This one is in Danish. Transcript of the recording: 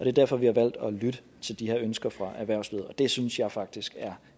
er derfor vi har valgt at lytte til de her ønsker fra erhvervslivet og det synes jeg faktisk er